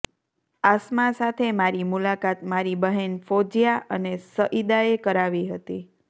આસમા સાથે મારી મુલાકાત મારી બહેન ફોજિયા અને સઈદાએ કરાવી હતી